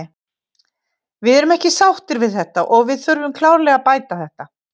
Við erum ekki sáttir við þetta og við þurfum klárlega að bæta þetta.